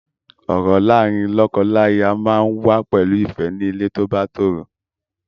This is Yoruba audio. Ọ̀rọ̀ láàárín lọ́kọláya máa ń wà pẹ̀lú ìfẹ́ ní ilé tó bá tòrò.